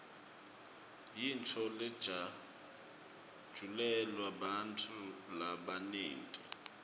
yintfo lejatjulelwa bantfu labanyenti